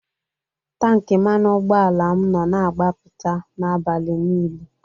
Tanki mmanụ ụgbọala m nọ na-agbapụta n'abalị niile